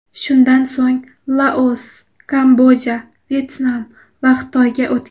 Shundan so‘ng Laos, Kamboja, Vyetnam va Xitoyga o‘tgan.